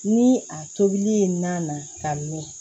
Ni a tobili ye nan ka mɛn